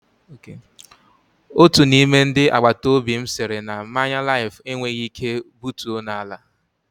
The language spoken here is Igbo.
Otu n'ime ndị agbataobi m sịrị na mmanya Laif enweghị ike butuo n'ala.